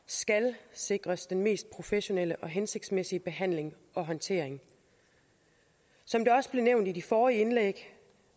skal sikres den mest professionelle og hensigtsmæssige behandling og håndtering som det også er blevet nævnt i de forrige indlæg